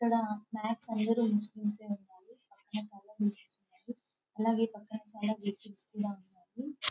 ఇక్కడ మాక్స్ అందరూ ముస్లింసే ఉన్నారు పక్కన చాలా బిల్డింగ్స్ ఉన్నాయి అలాగే పక్కన చాలా వెహికల్స్ కూడా ఉన్నాయి.